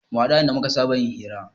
Mu haɗu a inda muka saba yin hira